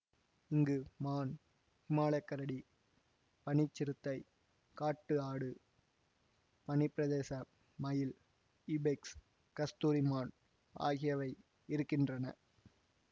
இங்கு மான் ஹிமாலயக் கரடி பனிச்சிறுத்தை காட்டு ஆடு பனிப்பிரதேச மயில் இபெக்ஸ் கஸ்தூரி மான் ஆகியவை இருக்கின்றன